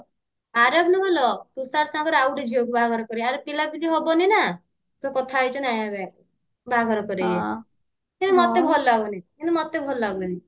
ଆରବ ନୁହଁଲୋ ତୁଷାର ସାଙ୍ଗରେ ଆଉ ଗୋଟେ ଝିଅକୁ ବାହାଘର କରେଇବେ ୟର ପିଲାପିଲି ହବନି ନା ତ କଥା ହେଇଛନ୍ତି ବାହାଘର କରେଇବେ କିନ୍ତୁ ମତେ ଭଲ ଲାଗୁନି କିନ୍ତୁ ମତେ ଭଲ ଲାଗୁନି